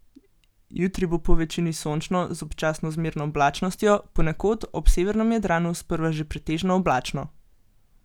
Jutri bo povečini sončno z občasno zmerno oblačnostjo, ponekod ob severnem Jadranu sprva še pretežno oblačno.